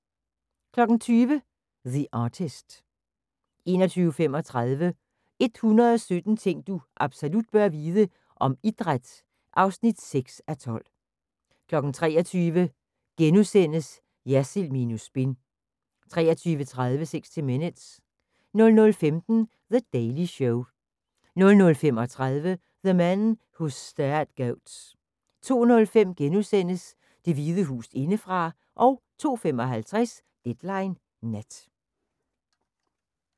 20:00: The Artist 21:35: 117 ting du absolut bør vide - om idræt (6:12) 23:00: Jersild minus spin * 23:30: 60 Minutes 00:15: The Daily Show 00:35: The Men who Stare at Goats 02:05: Det Hvide Hus indefra * 02:55: Deadline Nat